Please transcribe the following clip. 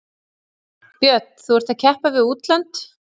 Björn: Þú ert að keppa við útlönd?